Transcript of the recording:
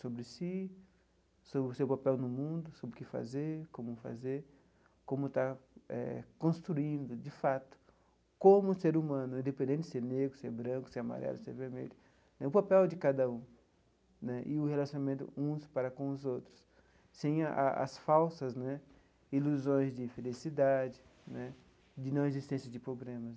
sobre si, sobre o seu papel no mundo, sobre o que fazer, como fazer, como está eh construindo, de fato, como ser humano, independente de ser negro, ser branco, ser amarelo, ser vermelho, o papel de cada um né e o relacionamento uns para com os outros, sem a as falsas né ilusões de felicidade né, de não existência de problemas.